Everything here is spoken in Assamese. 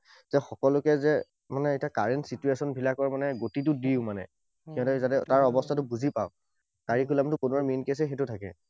যে সকলোকে যে মানে এতিয়া current situation বিলাকৰ গতিটো দিওঁ মানে। যাতে যাতে তাৰ অৱস্থাটো বুজি পাওক। Curriculum বোৰৰ main case এ সেইটো থাকে।